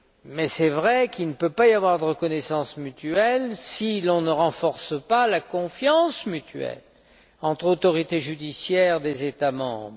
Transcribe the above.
Mais il est vrai qu'il ne peut y avoir de reconnaissance mutuelle si l'on ne renforce pas la confiance mutuelle entre autorités judiciaires des États membres.